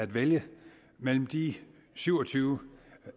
vælge mellem de syv og tyve